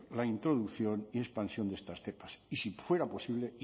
la introducción y expansión de estas cepas y si fuera posible